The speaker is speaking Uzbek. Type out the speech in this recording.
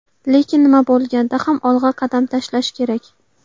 Lekin nima bo‘lganda ham olg‘a qadam tashlash kerak.